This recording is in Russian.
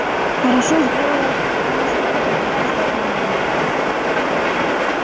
хорошо сделала кумушка-попадья что обманула их